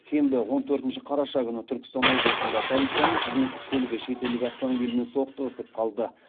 сенбі он төртінші қараша күні түркістан облысында полицияның қызметтік көлігі шетелдік автомобильмен соқтығысып қалды